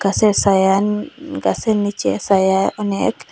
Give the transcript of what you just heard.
গাসে সায়ান গাসের নীচে সায়া অনেক।